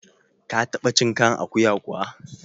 Ka taɓa cin kan akuya kuwa?